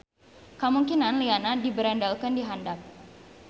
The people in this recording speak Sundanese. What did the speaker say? Kamungkinan lianna diberendelkeun di handap.